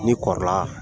Ni kɔrɔla